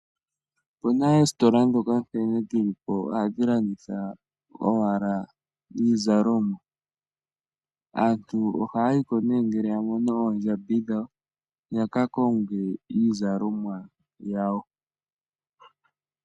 Opu na oositola ndhoka nkene dhi li po ohadhi landitha owala iizalomwa. Aantu ohaya yi ko nduno ngele ya mono oondjambi dhawo ya ka konge iizalomwa yawo.